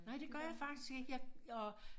Nej det gør jeg faktisk ikke jeg og